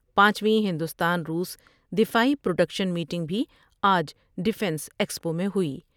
پانچو یں ہندوستان روس دفاعی پروڈکشن میٹنگ بھی آج ڈفینس ایکسپو میں ہوئی ۔